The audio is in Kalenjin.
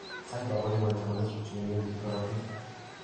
faiba ko igoitoi kolestrol che ng'eringen eng' korotiik.